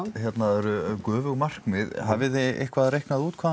eru göfug markmið hafið þið eitthvað reiknað út hvað